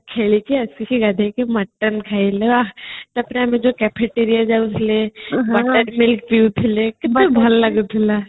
ହୋଲି ଖେଳିକି ଗାଧେଇକି ମଟନ ଖାଇଲେ ତାପରେ ଆମେ ଯୋଉ cafeteria ଯାଉଥିଲେ buttermilkପିଉଥିଲେ କେତେ ଭଲ ଲାଗୁଥିଲା